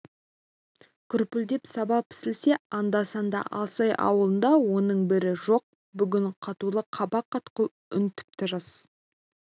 күрпілдеп саба пісілсе анда-санда алсай ауылында оның бірі жоқ бүгін қатулы қабақ қатқыл үн тіпті жас